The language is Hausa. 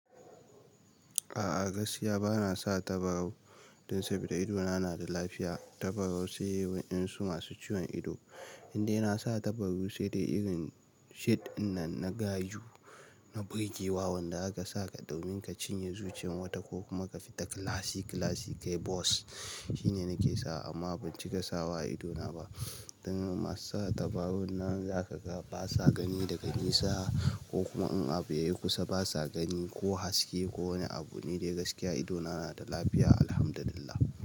A'a gaskiya bana sa tabarau dan saboda idona na da lafiya. Tabarau sai wayan su masu ciwon ido. In dai na sa tabarau sai dai irin shid nan na gaju, na birgewa, wanda aka saka domin ka cinye zuciyan wata ko kuma ka fita klasi klasi kai bos. Shi ne nake sa amma bincika sawa idona ba. Dan masu sa tabarau nan za ka ga basa gani daga nisa ko kuma in abu yayi kusa basa gani ko haske ko wani abu. Ni dai gaskiya idona na da lafiya, Alhamdulillah.